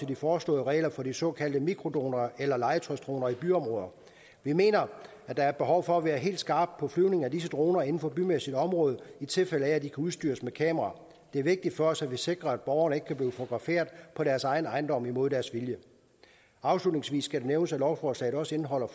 de foreslåede regler for de såkaldte mikrodroner eller legetøjsdroner i byområder vi mener at der er behov for at være helt skarp når flyvning med disse droner inden for bymæssigt område i tilfælde af at de kan udstyres med kamera det er vigtigt for os at vi sikrer at borgerne ikke kan blive fotograferet på deres egen ejendom imod deres vilje afslutningsvis skal det nævnes at lovforslaget også indeholder